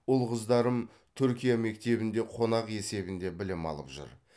ұл қыздарым түркия мектебінде қонақ есебінде білім алып жүр